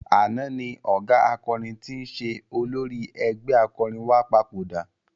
Àná ni ọ̀gá akọrin tí ń ṣe olórí ẹgbẹ́ akọrin wa papòdà.